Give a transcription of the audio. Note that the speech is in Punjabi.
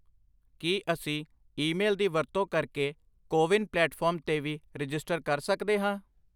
ਕੀ ਅਸੀਂ ਈਮੇਲ ਦੀ ਵਰਤੋਂ ਕਰਕੇ ਕੋਵਿਨ ਪਲੇਟਫਾਰਮ 'ਤੇ ਵੀ ਰਜਿਸਟਰ ਕਰ ਸਕਦੇ ਹਾਂ?